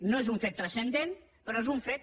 no és un fet transcendent però és un fet